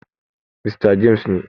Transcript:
Mista James ne.